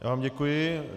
Já vám děkuji.